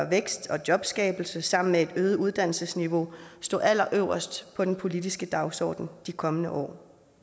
vækst og jobskabelse sammen med et øget uddannelsesniveau stå allerøverst på den politiske dagsorden de kommende år